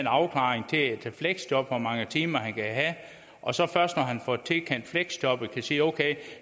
afklaring til et fleksjob altså hvor mange timer han kan have og så først når han får tilkendt fleksjobbet kan han sige at okay